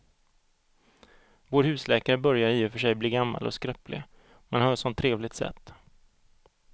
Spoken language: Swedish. Vår husläkare börjar i och för sig bli gammal och skröplig, men han har ju ett sådant trevligt sätt!